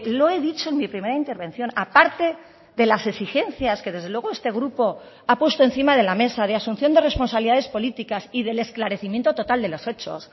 lo he dicho en mi primera intervención aparte de las exigencias que desde luego este grupo ha puesto encima de la mesa de asunción de responsabilidades políticas y del esclarecimiento total de los hechos